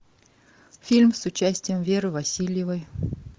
фильм с участием веры васильевой